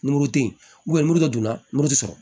Ni muru te yen muru dɔ don na moritb sɔrɔ